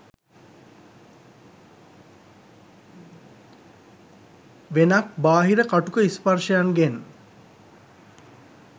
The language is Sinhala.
වෙනක් බාහිර කටුක ස්පර්ශයන්ගෙන්